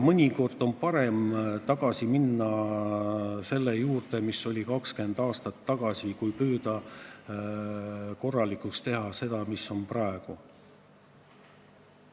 Mõnikord on parem tagasi minna selle juurde, mis oli 20 aastat tagasi, kui püüda korda teha seda, mis on praegu.